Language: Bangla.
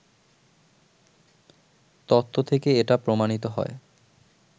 তত্ত্ব থেকে এটা প্রমাণিত হয়